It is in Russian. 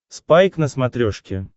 спайк на смотрешке